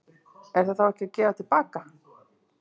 Er það þá ekki að gefa til baka?